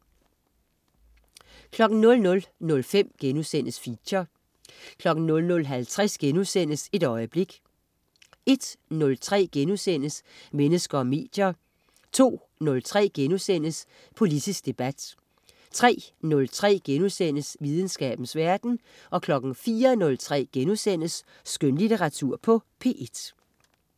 00.05 Feature* 00.50 Et øjeblik* 01.03 Mennesker og medier* 02.03 Politisk debat* 03.03 Videnskabens verden* 04.03 Skønlitteratur på P1*